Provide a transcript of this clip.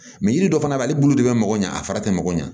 Mɛ yiri dɔ fana b'ale bolo de bɛ mɔgɔ ɲɛ a fara tɛ mako ɲɛ